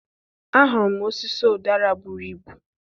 Ahụrụ m osisi ụdara buru ibu.